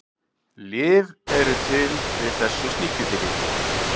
lyf eru til við þessu sníkjudýri